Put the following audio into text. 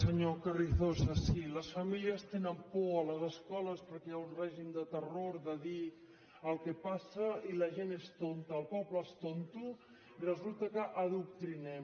senyor carrizosa sí les famílies tenen por a les escoles perquè hi ha un règim de terror de dir el que passa i la gent és tonta el poble és tonto i resulta que adoctrinem